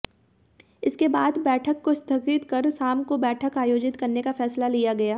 इसके बाद बैठक को स्थगित कर शाम को बैठक आयोजित करने का फैसला लिया गया